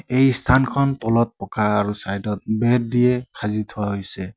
এই স্থানখন তলত পকা আৰু চাইডত বেৰ দিয়ে সাজি থোৱা হৈছে।